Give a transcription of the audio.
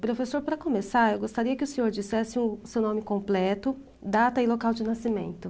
Professor, para começar, eu gostaria que o senhor dissesse o seu nome completo, data e local de nascimento.